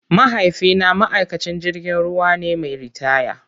Mahaifina ma'aikacin jirgin ruwa ne mai ritaya.